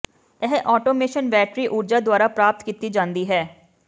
ਇਹ automation battery ਊਰਜਾ ਦੁਆਰਾ ਪ੍ਰਾਪਤ ਕੀਤੀ ਜਾਂਦੀ ਹੈ